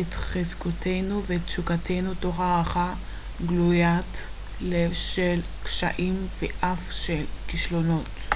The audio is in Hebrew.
את חזקותינו ותשוקותינו תוך הערכה גלוית לב של קשיים ואף של כישלונות